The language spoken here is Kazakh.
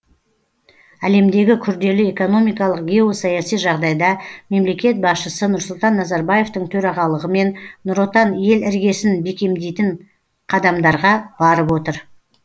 әлемдегі күрделі экономикалық геосаяси жағдайда мемлекет басшысы нұрсұлтан назарбаевтың төрағылығымен нұр отан ел іргесін бекемдейтін қадамдарға барып отыр